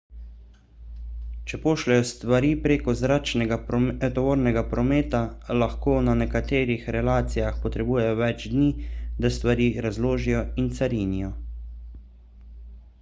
če pošljejo stvari prek zračnega tovornega prometa lahko na nekaterih relacijah potrebujejo več dni da stvari razložijo in carinijo